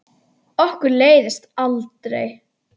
Okkur leiðist aldrei!